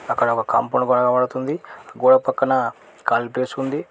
అక్కడ ఒక కంపలు కనపడుతుంది గోడ పక్కన కాళీ ప్లేస్ ఉంది.